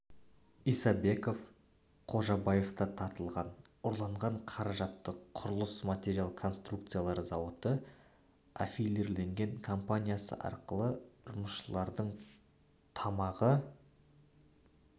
исабеков қожабаев та тартылған ұрланған қаражатты құрылыс металл конструкциялар зауыты аффилирленген компаниясы арқылы жұмысшылардың тамағы